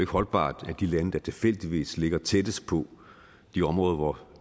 holdbart at de lande der tilfældigvis ligger tættest på de områder hvor